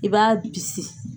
I b'a bisi.